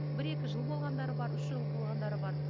бір екі жыл болғандары бар үш жыл болғандары бар